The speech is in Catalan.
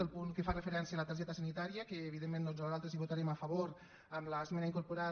el punt que fa referència a la targeta sanitària que evidentment nosaltres hi votarem a favor amb l’esmena incorporada